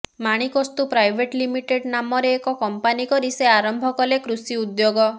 Manikastu private limited ନାମରେ ଏକ company କରି ସେ ଆରମ୍ଭ କଲେ କୃଷି ଉଦ୍ୟୋଗ